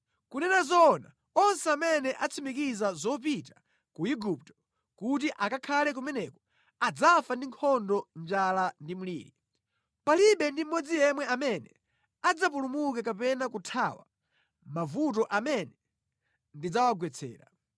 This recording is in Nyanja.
Kunena zoona, onse amene atsimikiza zopita ku Igupto kuti akakhale kumeneko adzafa ndi nkhondo njala ndi mliri. Palibe ndi mmodzi yemwe amene adzapulumuke kapena kuthawa mavuto amene ndidzawagwetsera.’